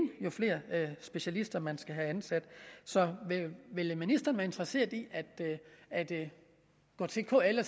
jo flere specialister man skal have ansat så ville ministeren være interesseret i at at gå til kl og